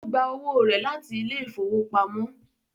Ó gba owó rẹ̀ láti ilé ìfowópamọ́